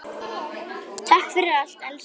Takk fyrir allt elsku besti.